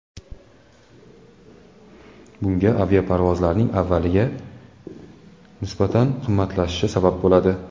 Bunga aviaparvozlarning avvalgiga nisbatan qimmatlashishi sabab bo‘ladi.